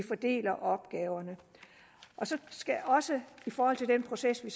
fordele opgaverne så skal jeg også i forhold til den proces vi